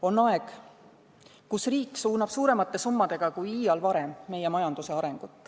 On aeg, kus riik suunab meie majanduse arengut suuremate summadega kui iial varem.